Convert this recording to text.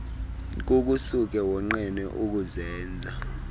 kukusuke wonqene ukuzenza